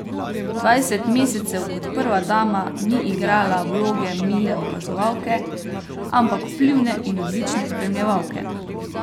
Dvajset mesecev kot prva dama ni igrala vloge mile opazovalke, ampak vplivne in odlične spremljevalke.